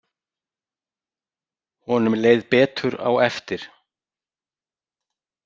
Honum leið betur á eftir.